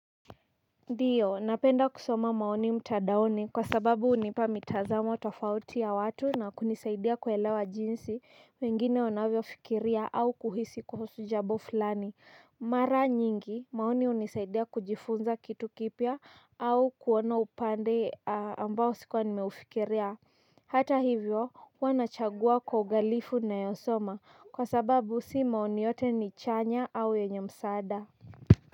Ndiyo napenda kusoma maoni mtadaoni kwa sababu hunipa mitazamo tofauti ya watu na kunisaidia kuelewa jinsi wengine wanavyo fikiria au kuhisi kuhusu jambo fulani. Mara nyingi maoni hunisaidia kujifunza kitu kipya au kuona upande ambao sikuwa nimeufikiria. Hata hivyo huwa nachagua kwa uangalifu ninayo soma kwa sababu si maoni yote ni chanya au yenye msaada.